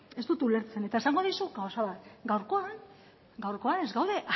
ez dut ulertzen eta esango dizut gauza bat gaurkoan ez gaude